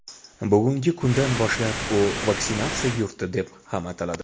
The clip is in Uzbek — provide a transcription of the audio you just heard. Bugungi kundan boshlab u vaksinatsiya yurti deb ham ataladi.